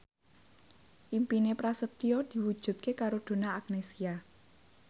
impine Prasetyo diwujudke karo Donna Agnesia